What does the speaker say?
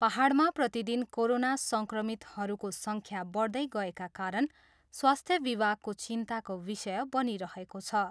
पाहाडामा प्रतिदिन कोरोना सङ्क्रमितहरूको सङ्ख्या बढ्दै गएका कारण स्वास्थ्य विभागको चिन्ताको विषय बनिरहेको छ।